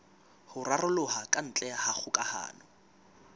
ho raroloha kantle ha kgokahano